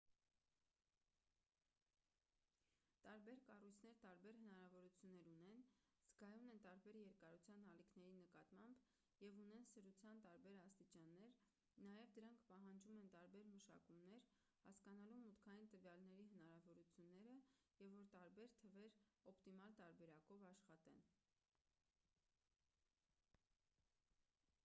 տարբեր կառույցներ տարբեր հնարավորություններ ունեն զգայուն են տարբեր երկարության ալիքների նկատմամբ և ունեն սրության տարբեր աստիճաններ նաև դրանք պահանջում են տարբեր մշակումներ հասկանալու մուտքային տվյալների հնարավորությունները և որ տարբեր թվեր օպտիմալ տարբերակով աշխատեն